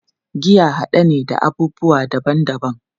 Giya hade ne na abubuwa daban-daban